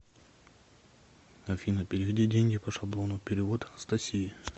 афина переведи деньги по шаблону перевод анастасии